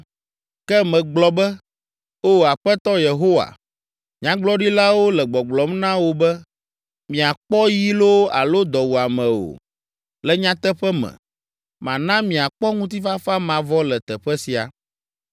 Ke megblɔ be, “O Aƒetɔ Yehowa, Nyagblɔɖilawo le gbɔgblɔm na wo be, ‘Miakpɔ yi loo alo dɔwuame o. Le nyateƒe me, mana miakpɔ ŋutifafa mavɔ le teƒe sia.’ ”